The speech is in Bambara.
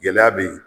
Gɛlɛya be yen